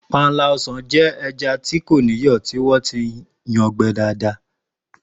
Panla o̩sàn jé̩ e̩ja tí kò níyò̩ tí wó̩n ti yan gbe̩ dáadáa